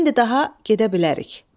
İndi daha gedə bilərik.